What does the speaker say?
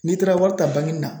N'i taara wari ta bangini na